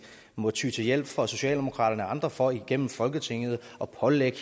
må ty til hjælp fra socialdemokraterne og andre for igennem folketinget at pålægge